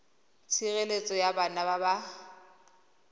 tshireletso ya bana ba ba